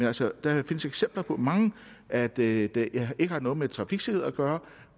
altså mange eksempler på at det ikke har noget med trafiksikkerhed at gøre